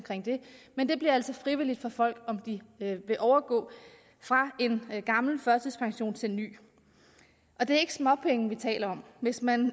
men det bliver altså frivilligt for folk om de vil overgå fra en gammel førtidspension til en ny det er ikke småpenge vi taler om hvis man